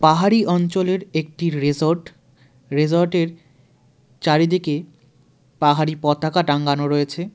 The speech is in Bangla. পাহাড়ি অঞ্চলের একটি রেজর্ট রেজর্টের চারিদিকে পাহাড়ি পতাকা টাঙ্গানো রয়েছে .